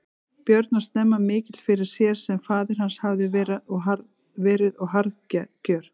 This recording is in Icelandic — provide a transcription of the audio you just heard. Björn og snemma mikill fyrir sér sem faðir hans hafði verið og harðgjör.